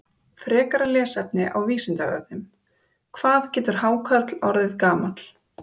Frekara lesefni á Vísindavefnum: Hvað getur hákarl orðið gamall?